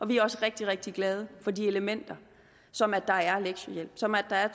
vi er også rigtig rigtig glade for de elementer som at der er lektiehjælp som at der er